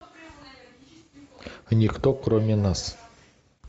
никто кроме нас